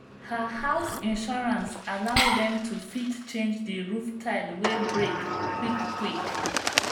her house insurance allow dem to fit change the roof tile wey break quick quick.